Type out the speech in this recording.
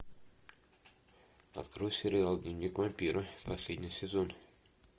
открой сериал дневник вампира последний сезон